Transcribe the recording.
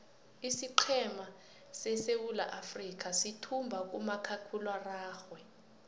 isiqhema seswulaafrikha suthumbo kumakhakhuiwa araxhwe